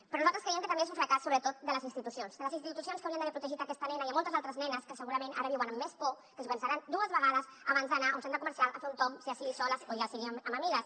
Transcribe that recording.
però nosaltres creiem que també és un fracàs sobretot de les institucions de les institucions que haurien d’haver protegit aquesta nena i moltes altres nenes que segurament ara viuen amb més por que s’ho pensaran dues vegades abans d’anar a un centre comercial a fer un tomb ja sigui soles o ja sigui amb amigues